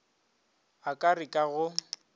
a ka re ka go